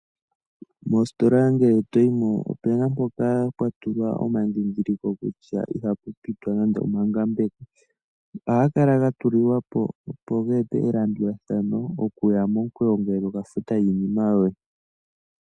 Moositola ngele toyimo opuna mpoka pwatulwa omadhidhiliko kutya iha pupitwa nenge omangambeko, ohaga kala gatulilwa po gete po elandulathano okuya momukweyo ngoye tokafuta iinima yoye.